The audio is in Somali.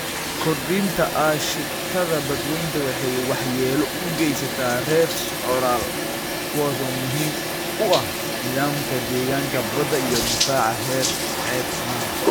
Kordhinta aashitada badweynta waxay waxyeelo u geysataa reefs coral, kuwaas oo muhiim u ah nidaamka deegaanka badda iyo difaaca xeebaha.